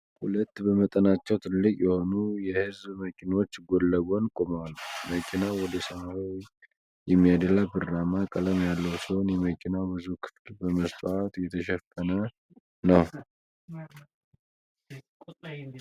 ሁለት በመጠናቸው ትልቅ የሆኑ የህዝብ መኪኖች ጎን ለጎን ቆመዋል። መኪናው ወደ ሰማያዊ የሚያደላ ብርማ ቀለም ያለው ሲሆን የመኪናው ብዙ ክፍል በመስታወት የተሸፈነ ነው።